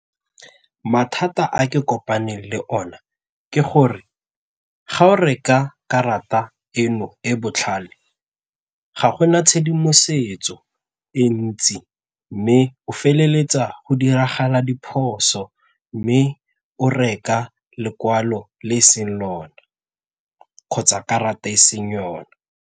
Mathata a ke kopaneng le one ke gore ga o reka karata eno e botlhale ga gona tshedimosetso e ntsi mme o feleletsa go diragala diphoso mme o reka lekwalo le e seng lona kgotsa karata e seng yone.